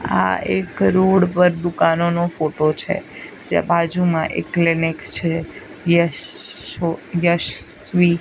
આ એક રોડ પર દુકાનોનો ફોટો છે જ્યાં બાજુમાં એક ક્લિનિક છે યશ શો યશવી.